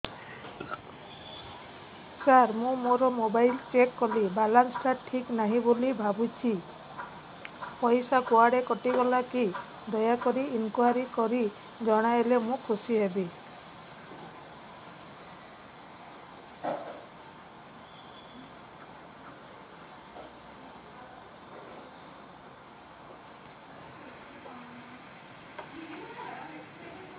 ସାର ମୁଁ ମୋର mobile check କଲି ବାଲାନ୍ସ ଟା ଠିକ ନାହିଁ ବୋଲି ଭାବୁଛି ପଇସା କୁଆଡେ କଟି ଗଲା କି ଦୟାକରି ଇନକ୍ୱାରି କରି ଜଣାଇଲେ ମୁଁ ଖୁସି ହେବି